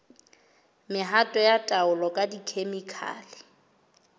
mehato ya taolo ka dikhemikhale